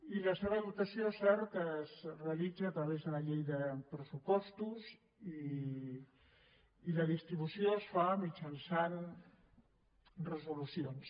i la seva dotació és cert es realitza a través de la llei de pressupostos i la distribució es fa mitjançant resolucions